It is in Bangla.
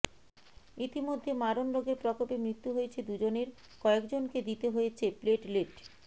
ইতিমধ্যে মারণ রোগের প্রকোপে মৃত্যু হয়েছে দুজনের কয়েকজনকে দিতে হয়েছে প্লেটলেট